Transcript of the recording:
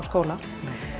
skóla